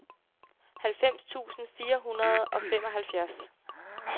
halvfems tusind fire hundrede og femoghalvfjerds